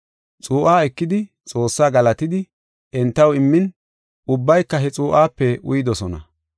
Xuu7a ekidi, Xoossaa galatidi, entaw immin ubbayka he xuu7ape uyidosona.